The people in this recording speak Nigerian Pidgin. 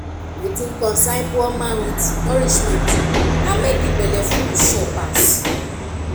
wetin concern poor man with nourishment na make e belleful sure pass